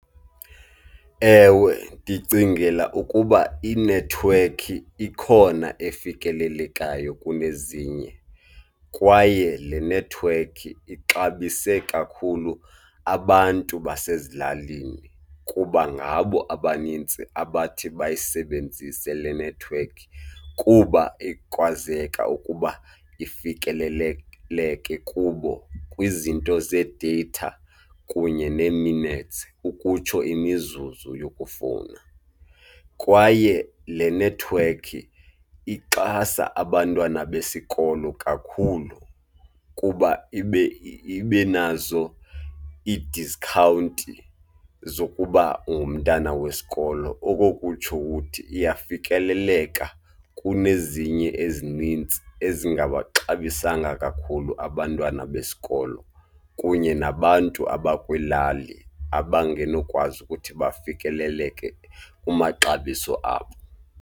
Ewe, ndicingela ukuba inethiwekhi ikhona efikelelekayo kunezinye kwaye le nethiwekhi ixabise kakhulu abantu basezilalini kuba ngabo abanintsi abathi bayisebenzise le nethiwekhi kuba ikwazeka ukuba ifikeleleke kubo kwizinto ze-data kunye nee-minutes, ukutsho imizuzu yokufowuna. Kwaye le nethiwekhi ixhasa abantwana besikolo kakhulu kuba ibe, ibe nazo iidiskhawunti zokuba ungumntana wesikolo. Okokutsho ukuthi iyafikeleleka kunezinye ezinintsi ezingabaxabisanga kakhulu abantwana besikolo kunye nabantu abakwiilali abangenokwazi ukuthi bafikeleleke kumaxabiso abo.